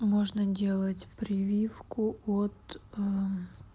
можно делать прививку от